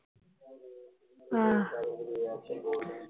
ਆਹ